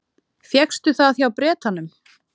Fékkstu það hjá Bretanum?